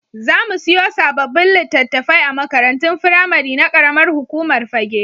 Za mu siyo sababbin litattafai a makarantun firamari na ƙaramar hukumar Fagge.